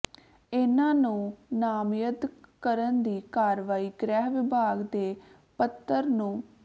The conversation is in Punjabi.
ਇਨ੍ਹਾਂ ਨੂੰ ਨਾਮਜ਼ਦ ਕਰਨ ਦੀ ਕਾਰਵਾਈ ਗ੍ਰਹਿ ਵਿਭਾਗ ਦੇ ਪੱਤਰ ਨੰ